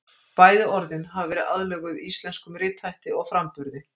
Bæði orðin hafa verið aðlöguð íslenskum rithætti og framburði.